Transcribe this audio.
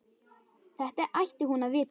Þetta ætti hún að vita.